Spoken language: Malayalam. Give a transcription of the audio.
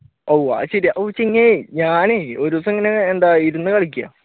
ഓഹ് അത് ശരിയാ പൊചിങ്കി ഞാനും ഒരു ദിവസം ഇങ്ങനെ എന്താ ഇരുന്ന് കളിക്കേണ്